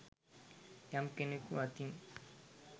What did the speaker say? යම් කෙනෙකු අතින්